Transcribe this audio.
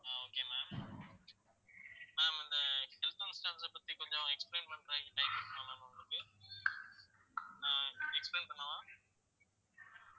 அஹ் okay ma'am ma'am இந்த health insurance ஐ பத்தி கொஞ்சம் explain பண்றேன் time இருக்குமா ma'am உங்களுக்கு ஆஹ் explain பண்ணவா